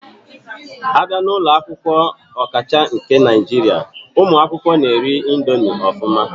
Abia na ulo akwukwo, okacha nke Naijiria, umu akwukwo na eri ya ofuma.